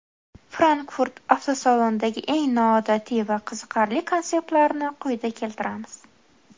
Frankfurt avtosalonidagi eng noodatiy va qiziqarli konseptlarni quyida keltiramiz.